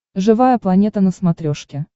живая планета на смотрешке